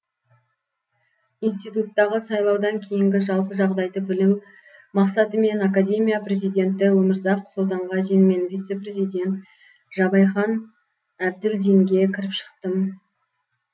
институттағы сайлаудан кейінгі жалпы жағдайды білу мақсатымен академия президенті өмірзақ сұлтанғазин мен вице президенті жабайхан әбділдинге кіріп шықтым